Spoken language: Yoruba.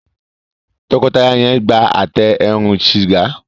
tọkọtaya yen gbà Àtẹ eérún sìgá.